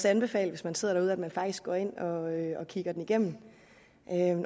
anbefale hvis man sidder derude at man faktisk går ind og kigger den igennem